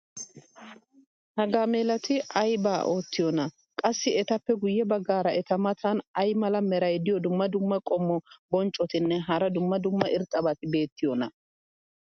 ha gaamelati ayba iitiyoonaa? qassi etappe guye bagaara eta matan ay mala meray diyo dumma dumma qommo bonccotinne hara dumma dumma irxxabati beettiyoonaa?